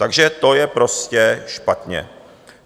Takže to je prostě špatně.